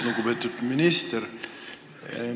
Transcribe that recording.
Lugupeetud minister!